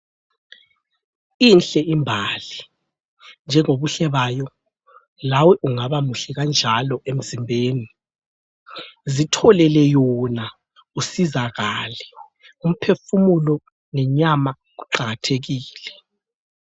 Inhle imbali njengobuhle bayo lawe ungabamuhle kanjalo emzimbeni, zitholele yona usizakale umphefumulo lenyama kuqakathekile.